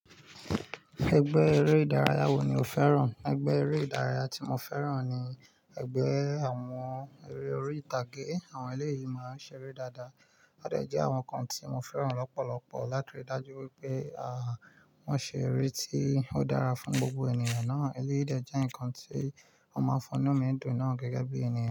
Ẹgbẹ́ eré ìdárayá wo ni o fẹ́ràn? Ẹgbẹ́ eré ìdárayá tí mo fẹ́ràn ni ẹgbẹ́ àwọn eré orí ìtàgé. Àwọn eléyìí máa ń ṣeré dáadáa. Wọn dẹ jẹ́ àwọn nǹkan tí mo fẹ́ràn lọ́pọ̀lọpọ̀ látòrí dájú wípé, à, wón ṣe eré tí ó dára fún gbogbo ènìyàn náà. Eléyìí dẹ jẹ́ ǹkan tí ó máa ń fún nu mi dùn na gẹ́gẹ́ bí iyẹn.